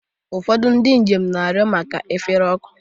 Ụfọdụ ndị njem na-arịọ maka efere ọkụ.